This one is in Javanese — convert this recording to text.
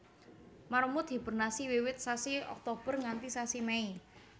Marmut hibernasi wiwit sasi Oktober nganti sasi Mei